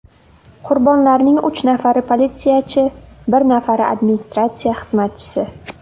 Qurbonlarning uch nafari politsiyachi, bir nafari administratsiya xizmatchisi .